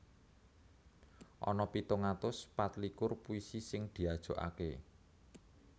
Ana pitung atus patlikur puisi sing diajokaké